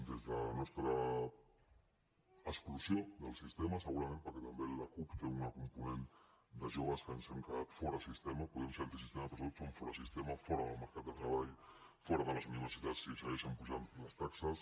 des de la nostra exclusió del sistema segurament perquè també la cup té una component de joves que ens hem quedat fora del sistema podem ser antisistema però sobretot som forasistema fora del mercat de treball fora de les universitats si segueixen apujant les taxes